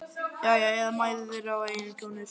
Já, eða mæður þeirra og eiginkonur.